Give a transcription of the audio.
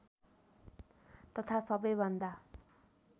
तथा सबै भन्दा